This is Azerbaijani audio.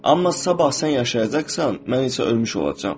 Amma sabah sən yaşayacaqsan, mən isə ölmüş olacam.